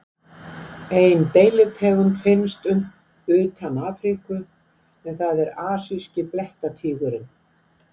ein deilitegund finnst utan afríku en það er asíski blettatígurinn